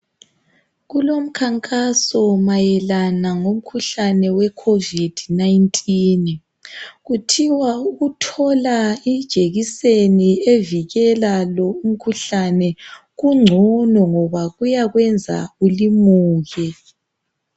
Kulomkhankaso mayelana ngomkhuhlane we "Covid-19",kuthiwa ukuthola ijekiseni evikela lo umkhuhlane kungcono ngoba kuyakwenza ulimuke.